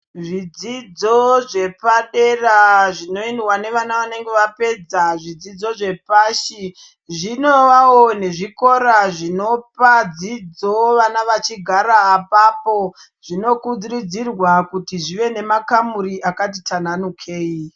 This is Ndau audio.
Zvidzidzo zvepadera dera zvinoendwa nevana vanenge vapedza zvidzidzo zvepashi zvinovavo nezvikora zvinopa dzidzo vana vachigara apapo zvinokurudzirwa zvive nemakamuri akati tananukei.